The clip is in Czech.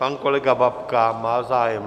Pan kolega Babka má zájem?